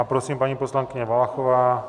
A prosím, paní poslankyně Valachová.